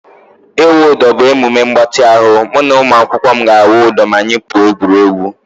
Ịwụ udo bụ emume mgbatị ahụ. Mụ na ụmụakwụkwọ m ga-awụ udo ma anyị pụọ egwuregwu